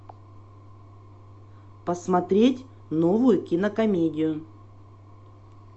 посмотреть новую кинокомедию